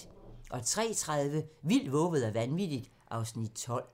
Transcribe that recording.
03:30: Vildt, vovet og vanvittigt (Afs. 12)